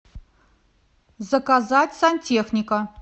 заказать сантехника